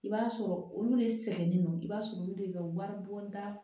I b'a sɔrɔ olu de sɛgɛnnen don i b'a sɔrɔ olu de ka wari bon da